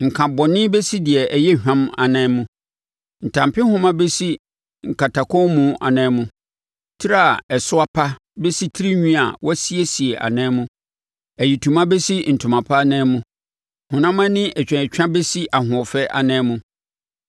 Nkabɔne bɛsi deɛ ɛyɛ hwam anan mu; ntampehoma bɛsi nkatakɔnmu anan mu; tire a ɛso apa bɛsi tirinwi a wɔasiesie anan mu; ayitoma bɛsi ntoma pa anan mu; honam ani atwaatwa bɛsi ahoɔfɛ anan mu.